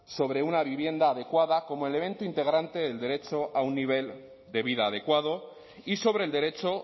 sobre una vivienda adecuada como elemento integrante del derecho a un nivel de vida adecuado y sobre el derecho